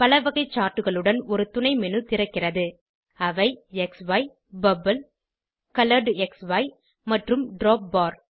பலவகை chartகளுடன் ஒரு துணை மேனு திறக்ககிறது அவை க்ஸி பபிள் கொலரெட்க்ஸி மற்றும் டிராப்பார்